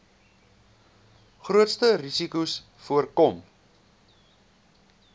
grootste risikos voorkom